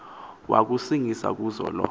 wakusingiswa kuzo lo